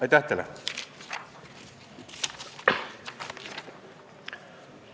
Aitäh teile!